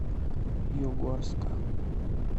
югорска